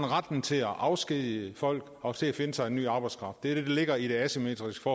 retten til at afskedige folk og til at finde sig en ny arbejdskraft det er det der ligger i det asymmetriske